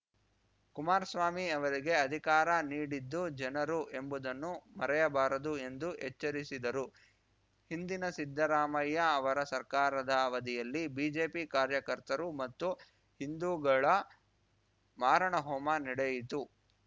ಕುಮಾರಸ್ವಾಮಿ ಅವರಿಗೆ ಅಧಿಕಾರ ನೀಡಿದ್ದು ಜನರು ಎಂಬುದನ್ನು ಮರೆಯಬಾರದು ಎಂದು ಎಚ್ಚರಿಸಿದರು ಹಿಂದಿನ ಸಿದ್ದರಾಮಯ್ಯ ಅವರ ಸರ್ಕಾರದ ಅವಧಿಯಲ್ಲಿ ಬಿಜೆಪಿ ಕಾರ್ಯಕರ್ತರು ಮತ್ತು ಹಿಂದೂಗಳ ಮಾರಣಹೋಮ ನಡೆಯಿತು